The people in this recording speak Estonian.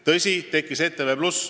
Tõsi, tekkis ETV+.